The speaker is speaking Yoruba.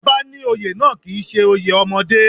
Ọba ní oyè náà kì í ṣe oyè ọmọdé